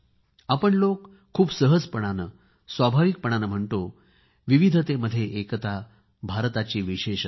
आपण लोक खूपच सहजपणाने स्वाभाविकपणे म्हणतो विविधतेमध्ये एकताभारताची विशेषता